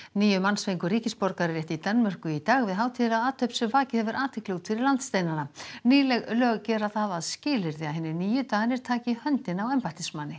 níu manns fengu ríkisborgararétt í Danmörku í dag við hátíðlega athöfn sem vakið hefur athygli út fyrir landsteinana nýleg lög gera það að skilyrði að hinir nýju Danir taki í höndina á embættismanni